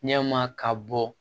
Ɲɛma ka bɔ